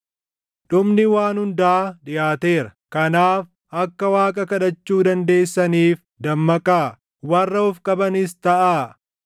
Dhumni waan hundaa dhiʼaateera. Kanaaf akka Waaqa kadhachuu dandeessaniif dammaqaa; warra of qabanis taʼaa.